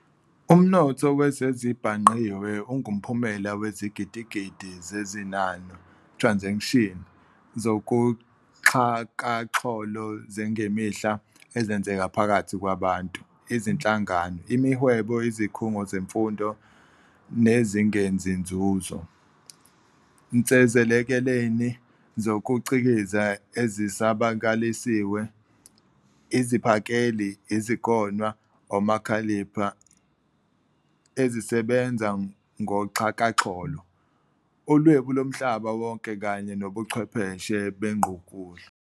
Umnotho wezezibhangqiwe ungumphumela wezigidigidi zezinano "transactions" zakuxhakaxholo zangemihla ezenzeka phakathi kwabantu, izinhlangano, imihwebo, izikhungo zemfundo, nezingenzi nzuzo, nsezilekelelini zokucikiza ezisabakalisiwe, iziphakeli, izigonwa, omakhalipha, etc., ezisebenza ngoxhakaxholo, uLwebu loMhlaba wonke, kanye nobuchwepheshe bengqukuhlu.